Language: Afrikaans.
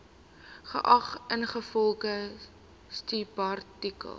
geag ingevolge subartikel